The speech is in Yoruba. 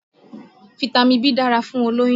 Fitami B dára fún olóyún